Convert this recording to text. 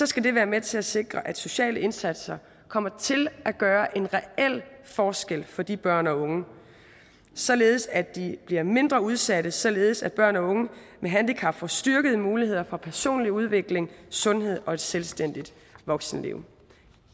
skal det være med til at sikre at sociale indsatser kommer til at gøre en reel forskel for de børn og unge således at de bliver mindre udsatte og således at børn og unge med handicap får styrkede muligheder for personlig udvikling sundhed og et selvstændigt voksenliv